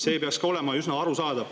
See peaks ka olema üsna arusaadav palve.